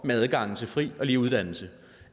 med adgangen til fri og lige uddannelse